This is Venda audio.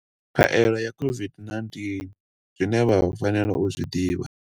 Khaelo ya COVID-19 Zwine vha fanela u zwi ḓivha.